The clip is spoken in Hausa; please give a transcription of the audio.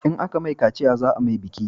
In a ka mai kaciya za a mai biki